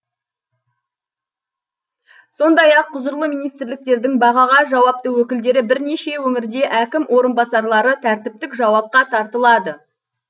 сондай ақ құзырлы министрліктердің бағаға жауапты өкілдері бірнеше өңірде әкім орынбасарлары тәртіптік жауапқа тартылады